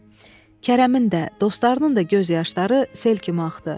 Kərəmin də, dostlarının da göz yaşları sel kimi axdı.